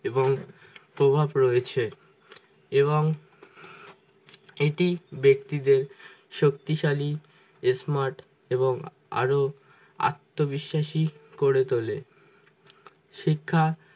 এবং প্রভাব রয়েছে এবং এটি ব্যক্তিদের শক্তিশালী smart এবং আরো আত্মবিশ্বাসী করে তোলে শিক্ষা